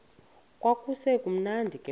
kwakusekumnandi ke phofu